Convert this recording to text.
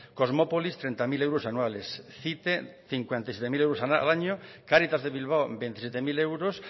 kosmopolis treinta mil euros anuales cite cincuenta y siete mil euros al año cáritas de bilbao veintisiete mil euros